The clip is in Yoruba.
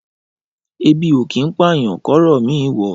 Ẹbi o kín pàyán kọrọ mi wọ.